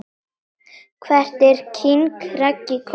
Hvert er king Raggi komin??